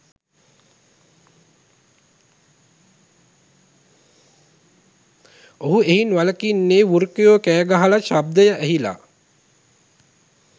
ඔහු එයින් වලකින්නේ වෘකයෝ කෑගහන ශබ්දය ඇහිලා